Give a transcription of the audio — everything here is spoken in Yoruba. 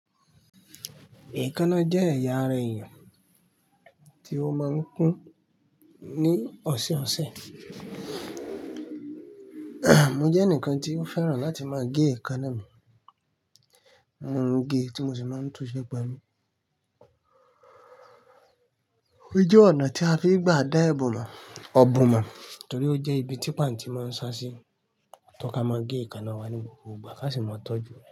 Èékánná jẹ́ ẹ̀yà ara èèyàn tí ó máa ń kún ní ọ̀sọ̀ọ̀sẹ̀. Mo jẹ́ ẹnìkan tí ó fẹ́ràn láti máa gé èékánná mi. Mo ń gé tí mo sì máa ń túnṣẹ́ pé lu. Ó jẹ́ ọ̀nà tí a fi ń gba dá èébù mo, ọ̀bùn mo torí ó jẹ́ ibi tí pàntí máa ń sa sí, tó ka máa gé èékánná wa ní gbogbo ìgbà ká sì máa tọ́jú re.